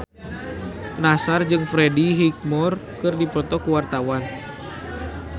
Nassar jeung Freddie Highmore keur dipoto ku wartawan